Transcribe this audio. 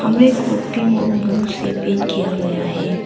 वे कॉपिंग और ब्लू से पेंट किया गया है।